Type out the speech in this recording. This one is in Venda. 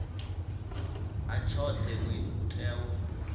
ha tshoṱhe u tea u